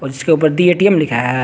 इसके ऊपर दी ए_टी_एम लिखा है।